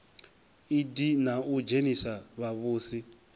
idp na u dzhenisa vhavhusi